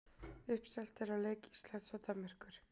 Uppselt er á leik Íslands og Danmerkur.